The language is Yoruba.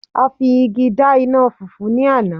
a fi igi da ina fufu ni Ana